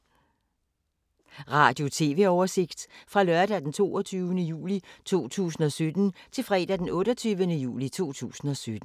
Radio/TV oversigt fra lørdag d. 22. juli 2017 til fredag d. 28. juli 2017